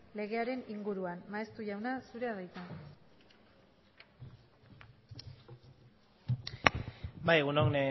legearen inguruan maeztu jauna zurea da hitza bai egun on